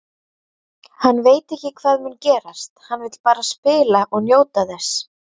Hann veit ekki hvað mun gerast, hann vill bara spila og njóta þess.